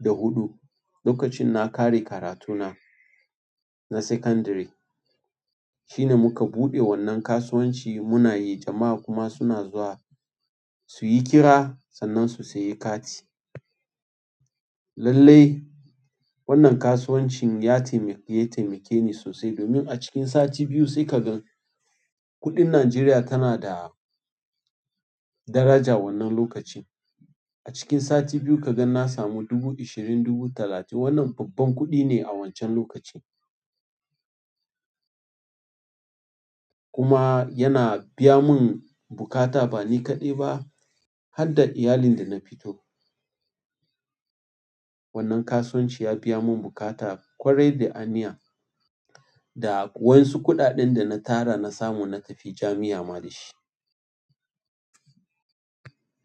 da huɗu lokacin na ƙare karatuna na sekandiri shi ne muka buɗe wannan kasuwanci muna yi jama'a kuma suna zuwa su yi kira sannan su sayi kati. Lallai wannan kasuwancin ya taimake, ya taimake ni sosai domin a cikin sati biyu sai ka gan kuɗin Najeriya tana da daraja wannan lokacin. A cikin sati biyu ka gan na samu dubu ashirin, dubu talatin. Wannan babban kuɗi ne a wancan lokacin. Kuma yana biya mun buƙata ba ni kaɗai ba har da iyalin da na fito. Wannan kasuwanci ya biya mun buƙata ƙwarai da aniya. Da waensu kuɗaɗen dana tara na samu na tafi jamia ma dashi.